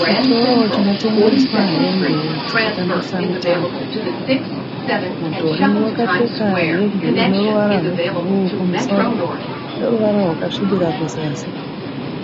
Chitoro chinotengeswa hembe dzokutambisa mitambo. Mudhori wakapfeka hembe ineruvara rwebhuruu kumusoro neruvara rwakasvibira kuzasi.